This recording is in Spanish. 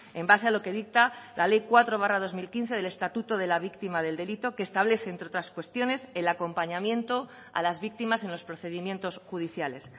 en base a lo que dicta la ley cuatro barra dos mil quince del estatuto de la víctima del delito que establece entre otras cuestiones el acompañamiento a las víctimas en los procedimientos judiciales